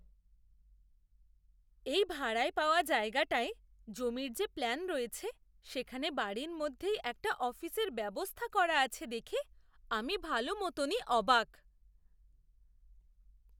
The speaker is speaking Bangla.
এই ভাড়ায় পাওয়া জায়গাটায় জমির যে প্ল্যান রয়েছে, সেখানে বাড়ির মধ্যেই একটা অফিসের ব্যবস্থা করা আছে দেখে আমি ভালো মতনই অবাক!